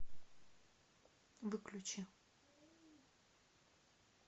выключи